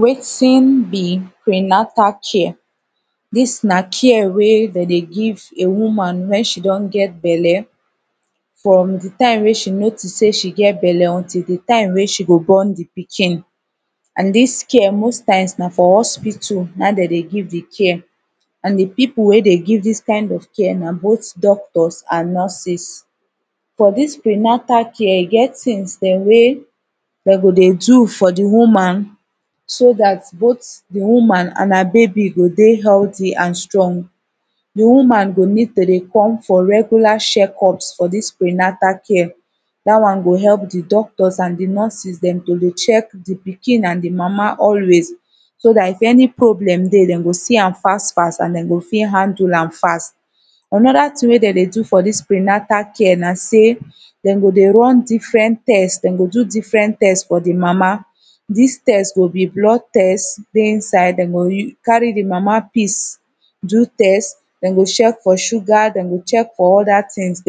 Weting be pre-natal care this nah care weh dem dey give a woman when she don get bele from de time when she notice say she get bele untill deh time weh she go born de pikin and this care most times nah for hospital nah him dem deh give de care and the people weh deh give this kind of care nah both doctors and nurses for this pre-natal care e get things deh way dem go deh do for de woman so that both the woman and her baby go deh healthy and strong the woman go need to deh come for regular sheckups for this pre-natal care that one go help the doctors and the nurses dem to the check the pikin and the mamma always so that if any problem deh them go see am fast fast and them go fit handle am fast another thing wey them deh do for this pre-natal care nah say them go deh run different test them go give different test for the mama this test go be blood test where inside them go carry the mama pees do test them go check for sugar them go check for other things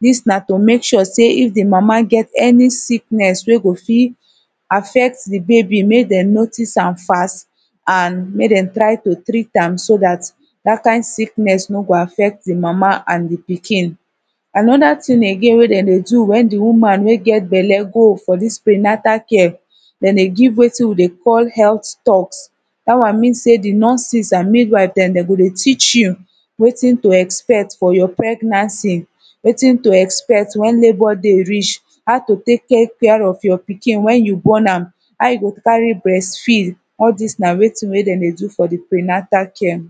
this nah to make sure say if the mama get any sickness where go fit affect the baby make them notice am fast and make them try to treat am so that that kind sickness no go affect the mama and the pikin another thing again wey them deh do when the woman weh get bele go for this pre-natal care them dey give wetin we dey call health stock that one mean say the nurses and mid-wife them deh go deh teach you wetin to expect for your pregnancy wetin to expect when labour day reach how to take care for your pikin when your born am how you go carry breastfeed all this nah wetin weh them deh do for the pre-natal care